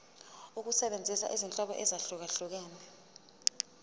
ukusebenzisa izinhlobo ezahlukehlukene